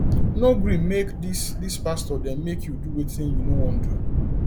no gree make dis dis pastor dem make you do wetin you no wan do